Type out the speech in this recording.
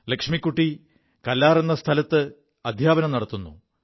ലക്ഷ്മിക്കുി കല്ലാർ എ സ്ഥലത്ത് ജീവിക്കുു